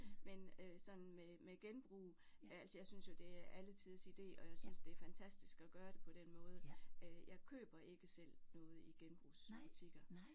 Men øh sådan med med genbrug altså jeg synes jo det er alletiders ide og jeg synes det er fantastisk at gøre det på den måde øh jeg køber ikke selv noget i genbrugsbutikker